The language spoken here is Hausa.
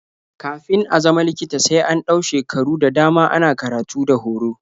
Kafin a zama likita sai an ɗau shekaru da dama ana karatu da horo.